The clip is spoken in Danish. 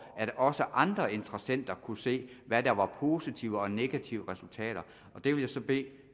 at også andre interessenter kunne se hvad der var positive og negative resultater det vil jeg så bede